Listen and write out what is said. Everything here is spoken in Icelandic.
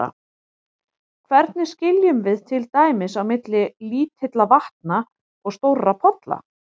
Hvernig skiljum við til dæmis á milli lítilla vatna og stórra polla?